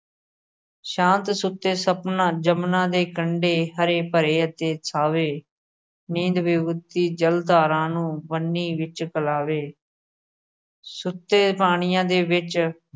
ਸ਼ਾਂਤ ਸੁਤੇ ਸਪਨਾ ਜਮਨਾ ਦੇ ਕੰਡੇ ਹਰੇ-ਭਰੇ ਅਤੇ ਥਾਵੇਂ। ਨੀਂਦ ਬਹੁਤੀ ਜਲ ਧਾਰਾ ਨੂੰ ਬੰਨੀ ਵਿੱਚ ਕਲਾਵੇ ਸੁੱਤੇ ਪਾਣੀਆ ਦੇ ਵਿੱਚ